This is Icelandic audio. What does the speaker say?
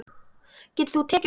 Getur þú tekið undir það?